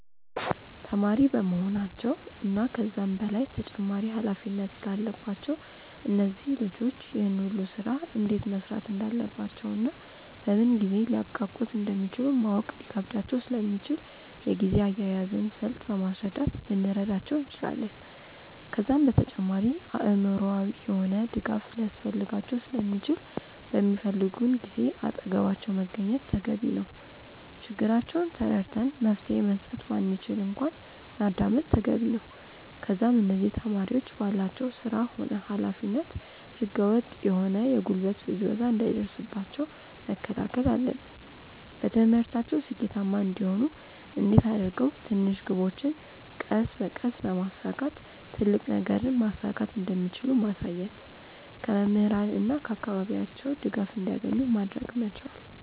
ተማሪ በመሆናቸው እና ከዛም በላይ ተጨማሪ ኃላፊነት ስላለባቸው እነዚህ ልጆች ይህን ሁሉ ስራ እንዴት መስራት እንዳለባቸውና በምን ጊዜ ሊያብቃቁት እንደሚችሉ ማወቅ ሊከብዳቸው ስለሚችል የጊዜ አያያዝን ስልት በማስረዳት ልንረዳቸው እንችላለን። ከዛም በተጨማሪ አእምሮአዊ የሆነ ድጋፍ ሊያስፈልጋቸው ስለሚችል በሚፈልጉን ጊዜ አጠገባቸው መገኘት ተገቢ ነው። ችግራቸውን ተረድተን መፍትሄ መስጠት ባንችል እንኳን ማዳመጥ ተገቢ ነው። ከዛም እነዚህ ተማሪዎች ባላቸው ስራ ሆነ ኃላፊነት ህገ ወጥ የሆነ የጉልበት ብዝበዛ እንዳይደርስባቸው መከላከል አለብን። በትምህርታቸው ስኬታማ እንዲሆኑ እንዴት አድርገው ትንሽ ግቦችን ቀስ በቀስ በማሳካት ትልቅ ነገርን ማሳካት እንደሚችሉ ማሳየት። ከመምህራን እና ከአካባቢያቸው ድጋፍ እንዲያገኙ ማድረግ መቻል።